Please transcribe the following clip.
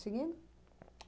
Seguindo?